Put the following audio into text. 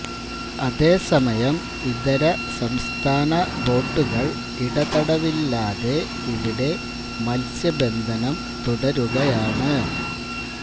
അതേസമയം ഇതര സംസ്ഥാന ബോട്ടുകൾ ഇടതടവില്ലാതെ ഇവിടെ മത്സ്യ ബന്ധനം തുടരുകയാണ്